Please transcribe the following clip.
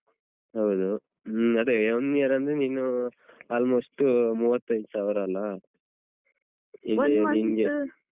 ಹೌದು ಹ್ಮ ಅದೇ one year ಅಂದ್ರೆ ನೀನು almost ಮೂವತ್ತೈದು ಸಾವ್ರ ಅಲ್ಲಾ